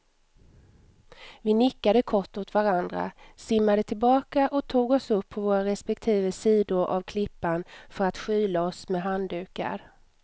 Vi nickade kort åt varandra, simmade tillbaka och tog oss upp på våra respektive sidor av klippan för att skyla oss med handdukar.